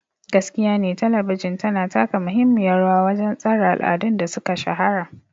Gaskiyane Talabijin tana taka muhimmiyar rawa wajen tsara al'adun da suka shahara.